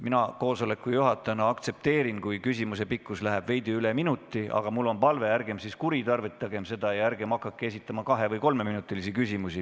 Mina juhatajana aktsepteerin, kui küsimuse pikkus läheb veidi üle minuti, aga mul on palve, ärgem kuritarvitagem seda ja ärgem hakakem esitama kahe- või kolmeminutilisi küsimusi.